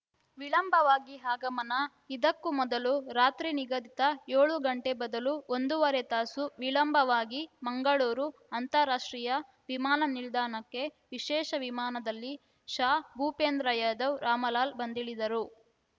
ವಿಳಂಬವಾಗಿ ಆಗಮನ ಇದಕ್ಕೂ ಮೊದಲು ರಾತ್ರಿ ನಿಗದಿತ ಏಳು ಗಂಟೆ ಬದಲು ಒಂದೂವರೆ ತಾಸು ವಿಳಂಬವಾಗಿ ಮಂಗಳೂರು ಅಂತಾರಾಷ್ಟ್ರೀಯ ವಿಮಾನ ನಿಲ್ದಾಣಕ್ಕೆ ವಿಶೇಷ ವಿಮಾನದಲ್ಲಿ ಶಾ ಭೂಪೇಂದ್ರ ಯಾದವ್‌ ರಾಮಲಾಲ್‌ ಬಂದಿಳಿದರು